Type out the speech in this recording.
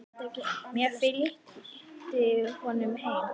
Ég fylgdi honum heim.